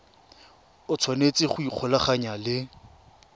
o tshwanetse go ikgolaganya le